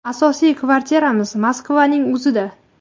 Asosiy kvartiramiz Moskvaning o‘zida.